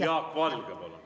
Jaak Valge, palun!